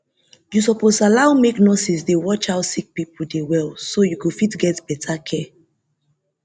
you suppose allow make nurses dey watch how sick people dey well so you go fit get better care